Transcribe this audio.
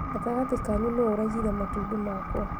Gatagati kanyu nũ ũraiyire matumbĩ makwa?